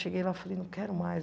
Cheguei lá e falei, não quero mais.